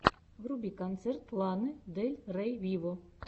вруби концерт ланы дель рей виво